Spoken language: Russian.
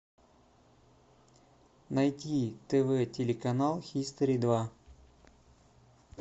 найти тв телеканал хистори два